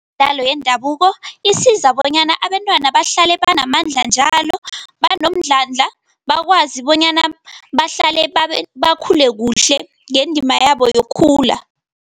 Yendabuko isiza bonyana abentwana bahlale banamandla njalo, banomdlandla, bakwazi bonyana bahlale bakhule kuhle ngendima yabo yokukhula.